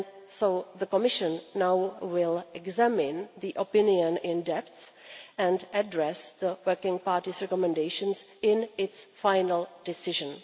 So the Commission will now examine the opinion in depth and address the working party's recommendations in its final decision.